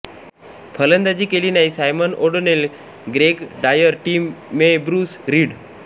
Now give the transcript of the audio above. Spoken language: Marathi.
फलंदाजी केली नाही Simon O'Donnell Greg Dyer Tim May Bruce read